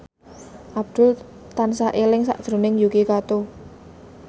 Abdul tansah eling sakjroning Yuki Kato